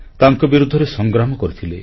ତାଙ୍କ ବିରୁଦ୍ଧରେ ସଂଗ୍ରାମ କରିଥିଲେ